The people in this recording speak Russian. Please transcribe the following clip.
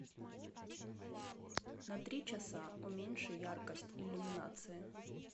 на три часа уменьши яркость иллюминации